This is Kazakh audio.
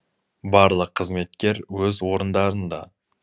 барлық қызметкер өз орындарында